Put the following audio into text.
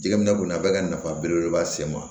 Jɛgɛ minɛ kɔni a bɛ ka nafa belebeleba se n ma